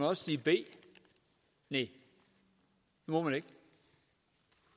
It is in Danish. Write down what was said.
også sige b næh det må man ikke